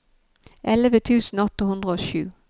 elleve tusen åtte hundre og sju